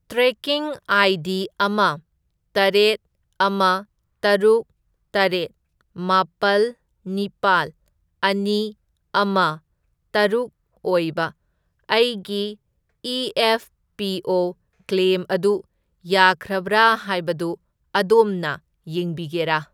Trekking ID. ꯑꯃ, ꯇꯔꯦꯠ, ꯑꯃ, ꯇꯔꯨꯛ, ꯇꯔꯦꯠ, ꯃꯥꯄꯜ, ꯅꯤꯄꯥꯜ, ꯑꯅꯤ, ꯑꯃ, ꯇꯔꯨꯛ ꯑꯣꯏꯕ ꯑꯩꯒꯤ ꯏ.ꯑꯦꯐ.ꯄꯤ.ꯑꯣ. ꯀ꯭ꯂꯦꯝ ꯑꯗꯨ ꯌꯥꯈ꯭ꯔꯕ꯭ꯔꯥ ꯍꯥꯏꯕꯗꯨ ꯑꯗꯣꯝꯅ ꯌꯦꯡꯕꯤꯒꯦꯔꯥ?